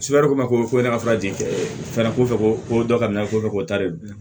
ko ma ko ne ka fura jɛn ko dɔ ka minɛ ko fɛ k'o ta de bila